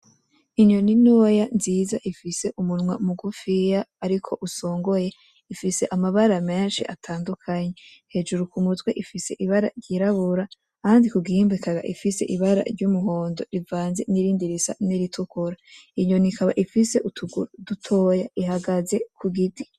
Inyoni ntoya nziza ifise umunwa mugufiya ariko usongoye ifise amabara menshi atandukanye. hejuru kumutwe ifise ibara ryirabura ahandi kugihimba ikaba ifise ibara ry'umuhondo rivanze nirindi risa niritukura inyoni ikaba ifise utuguru dutoya ihagaze kugiti